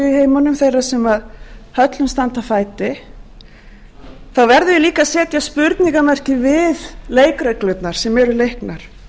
í heiminum þeirra sem höllum standa fæti þá verðum við líka að setja spurningarmerki við leikreglurnar sem eru leiknar